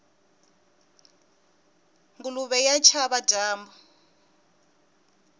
nguluve ya chava dyambu